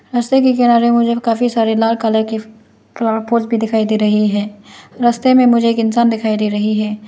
रस्ते के किनारे मुझे काफी सारे लाल कलर की फ्लॉवर पॉट भी दिखाई दे रहे है। रास्ते में मुझे एक इंसान दिखाई दे रही है।